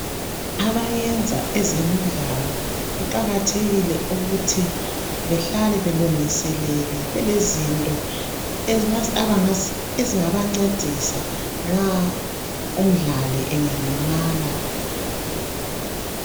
Abayenza ezemidlalo kuqakathekile ukuthi behlale belungiselele, belezinto ezingabancedisa nxa umdlali engalimala.